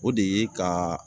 O de ye ka